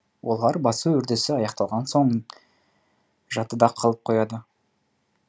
олар басу үрдісі аяқталған соң да жадыда қалып қояды